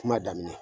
Kuma daminɛ